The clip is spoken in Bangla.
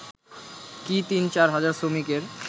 কি ৩/৪ হাজার শ্রমিকের